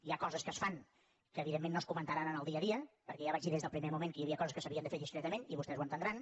hi ha coses que es fan que evidentment no es comentaran en el dia a dia perquè ja vaig dir des del primer moment que hi havia coses que s’havien de fer discretament i vostès ho entendran